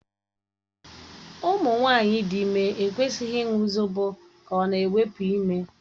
Ụmụ nwanyị dị ime ekwesịghị ịṅụ zobo ka ọ na-ewepụ ime.